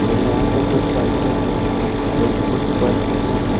यहां पे कुछ पंखे भी है और कुछ बल्ब भी है।